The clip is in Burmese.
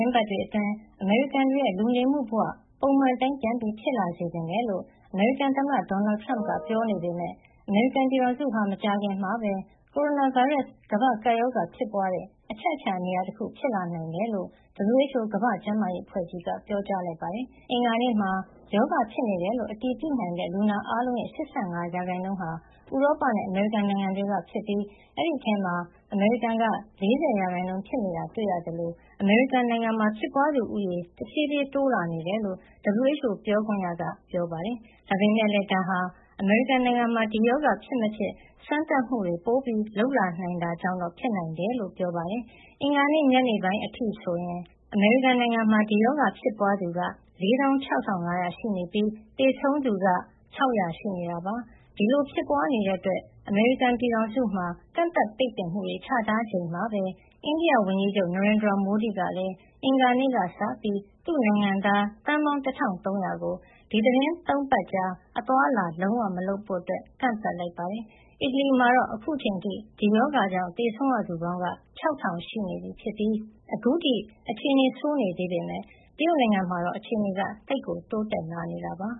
င်းပတ်တွေအတွင်း အမေရိကန်တွေရဲ့ လူနေမှုဘဝ ပုံမှန်အတိုင်း ပြန်ဖြစ်လာစေချင်တယ်လို့ အမေရိကန် သမ္မတ ဒေါ်နယ်ထရမ့်က ပြောနေပေမဲ့ အမေရိကန်ပြည်ထောင်စုဟာ မကြာခင်မှာပဲ ကိုရိုနာဗိုင်းရပ်စ် ကမ္ဘာ့ကပ်ရောဂါ ဖြစ်ပွားတဲ့ အချက်အချာ နေရာတခု ဖြစ်လာနိုင်တယ်လို့ WHO ကမ္ဘာ့ကျန်းမာရေး အဖွဲ့ကြီးက ပြောကြားလိုက်ပါတယ်။ အင်္ဂါနေ့မှာ ရောဂါဖြစ်နေတယ်လို့ အတည်ပြုနိုင်တဲ့ လူနာအားလုံးရဲ့ ၈၅ ရာခိုင်နှုန်းဟာ ဥရောပနဲ့ အမေရိကန် နိုင်ငံတွေက ဖြစ်ပြီး အဲဒီထဲမှာ အမေရိကန်က ၄၀ ရာခိုင်နှုန်း ဖြစ်နေတာ တွေ့ရတာသလို အမေရိကန်နိုင်ငံမှာ ဖြစ်ပွားသူဦးရေ တဖြည်းဖြည်း တိုးလာနေတယ်လို့ WHO ပြောခွင့်ရ Margaret Harris က ပြောပါတယ်။ ဒါပေမဲ့လည်း ဒါဟာ အမေရိကန်နိုင်ငံမှာ ဒီရောဂါ ဖြစ်မဖြစ် စမ်းသပ်မှုတွေ ပိုလုပ်လာနိုင်တာကြောင့်တော့ ဖြစ်နိုင်တယ်လို့လည်း ပြောပါတယ်။ အင်္ဂါနေ့ညပိုင်းအထိ ဆိုရင် အမေရိကန်နိုင်ငံမှာ ဒီရောဂါဖြစ်ပွားသူ ၄၆,၅၀၀ ရှိနေပြီး သေဆုံးသူက ၆၀၀ ရှိနေတာပါ။ ဒီလိုဖြစ်ပွားနေတဲ့ အတွက် အမေရိကန်ပြည်ထောင်စုမှာ ကန့်သတ်ပိတ်ပင်မှုတွေ ချထား ချိန်မှာပဲ အိန္ဒိယဝန်ကြီးချုပ် နရိန်ဒရာမိုဒီ ကလည်း အင်္ဂါနေ့ကစပြီး သူ့နိုင်ငံသား သန်းပေါင်း ၁,၃၀၀ ကို သီတင်း ၃ ပတ်ကြာ အသွားအလာ လုံးဝမလုပ်ဖို့ ကန့်သတ်လိုက်ပါတယ်။ အီတလီမှာတော့ အခုချိန်အထိ ဒီရောဂါကြောင့် သေဆုံးရသူပေါင်းက ၆,၀၀၀ ရှိနေပြီး အခုထိ အခြေနေဆိုးနေသေးပေမဲ့ တရုတ်နိုင်ငံမှာတော့ အခြေနေက သိပ်ကို တိုးတက်လာနေတာပါ